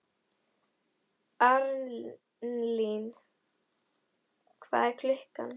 Arnlín, hvað er klukkan?